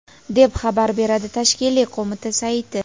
deb xabar beradi tashkiliy qo‘mita sayti.